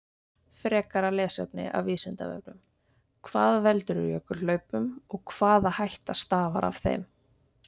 Frekara lesefni af Vísindavefnum: Hvað veldur jökulhlaupum og hvaða hætta stafar af þeim?